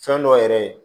Fɛn dɔ yɛrɛ ye